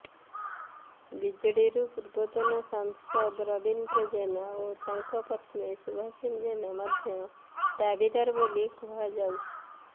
ବିଜେଡିରୁ ପୂର୍ବତନ ସାଂସଦ ରବୀନ୍ଦ୍ର ଜେନା ଓ ତାଙ୍କ ପତ୍ନୀ ସୁଭାଷିନୀ ଜେନା ମଧ୍ୟ ଦାବିଦାର ବୋଲି କୁହଯାଉଛି